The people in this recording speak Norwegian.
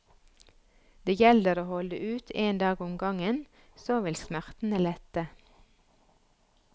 Det gjelder å holde ut en dag om gangen, så vil smerten lette.